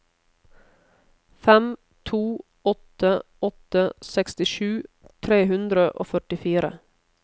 fem to åtte åtte sekstisju tre hundre og førtifire